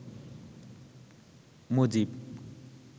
Mujib